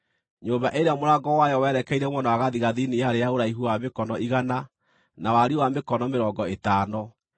Nyũmba ĩrĩa mũrango wayo werekeire mwena wa gathigathini yarĩ ya ũraihu wa mĩkono igana na wariĩ wa mĩkono mĩrongo ĩtano.